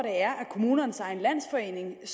kommunernes egen landsforening